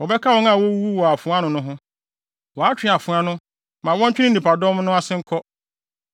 Wɔbɛka wɔn a wowuwuu wɔ afoa ano no ho. Wɔatwe afoa no, ma wɔntwe ne nnipadɔm no ase nkɔ.